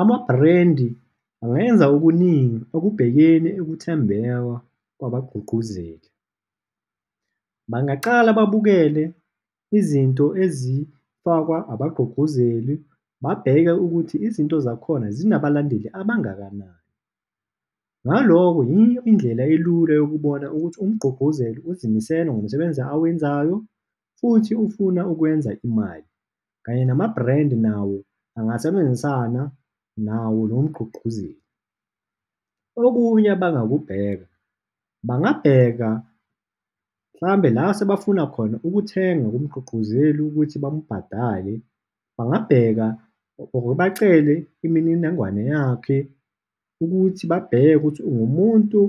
Amabrandi angayenza okuningi okubhekeni ukuthembeka kwabagqugquzeli. Bangaqala babukele izinto ezifakwa abagqugquzeli, babheke ukuthi izinto zakhona zinabalandeli abangakanani, ngaloko yiyo indlela elula yokubona ukuthi umgqugquzeli uzimisele ngomsebenzi awenzayo futhi ufuna ukwenza imali kanye nama-brand nawo angasebenzisana nawo lomgqugquzeli. Okunye abangakubheka, bangabheka mhlawumbe la sebafuna khona ukuthenga kumgqugquzeli ukuthi bamubhadale, bangabheka or-u bacele imininingwane yakhe ukuthi babheke ukuthi ungumuntu